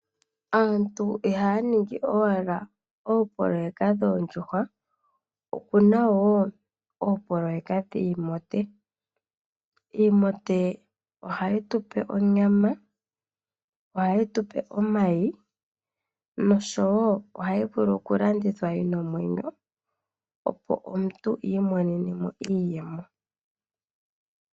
Aantu ihaya ningi owala oopoloyeka dhoondjuhwa, opuna wo oopoloyeka yiimote. Iimote ohayi type onyama, omayi noshowoo ohayi vulu okulandithwa yina omwenyo, opo omuntu iimonenemo iiyemo.